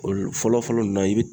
Olu fɔlɔ fɔlɔ nunnu na i bi